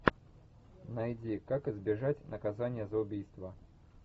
найди как избежать наказания за убийство